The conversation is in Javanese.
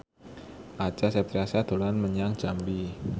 Acha Septriasa dolan menyang Jambi